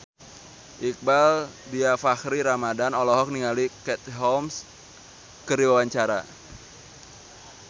Iqbaal Dhiafakhri Ramadhan olohok ningali Katie Holmes keur diwawancara